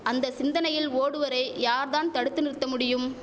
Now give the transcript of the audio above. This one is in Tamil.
அந்த சிந்தனையில் ஓடுவோரை யார் தான் தடுத்து நிறுத்த முடியும்